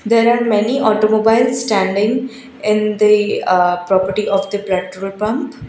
there are many automobile standing in the uh property of the petrol pump.